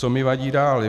Co mi vadí dál.